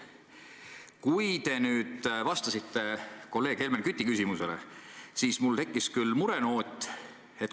Aga kui te nüüd vastasite kolleeg Helmen Küti küsimusele, siis mul tekkis küll mure.